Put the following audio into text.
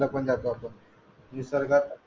फिरायला निसर्गात